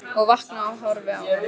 Og vakna og horfi á hana.